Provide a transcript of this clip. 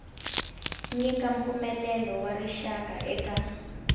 nyika mpfumelelo wa rixaka eka